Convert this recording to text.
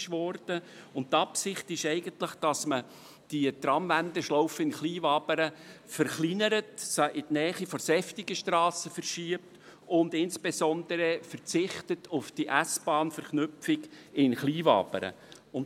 Die Absicht ist, die Tramwendeschlaufe in Kleinwabern zu verkleinern, in die Nähe der Seftigenstrasse zu verschieben und insbesondere auf die S-Bahn-Verknüpfung in Kleinwabern zu verzichten.